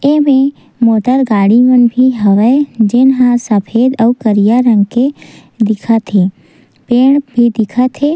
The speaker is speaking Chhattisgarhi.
ऐमे मोटर गाड़ी मन भी हवे जेनहा सफ़ेद अऊ करिया रंग के दिखत हे। पेड़ भी दिखत हे।